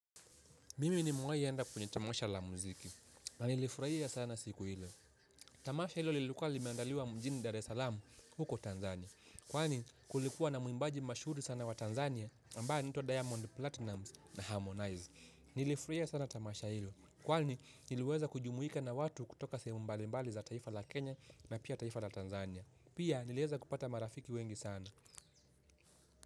Mimi nimewai enda kwenye tamasha la muziki na nilifurahia sana siku hilo. Tamasha hilo lilikuwa limeandaliwa mjini Dar es Salaam huko Tanzania. Kwani kulikuwa na muimbaji mashuhuri sana wa Tanzania ambaye anaitwa Diamond Platinumz na Harmonize. Nilifurahia sana tamasha hilo kwani niliweza kujumuika na watu kutoka sehemu mbalimbali za taifa la Kenya na pia taifa la Tanzania. Pia nilieza kupata marafiki wengi sana.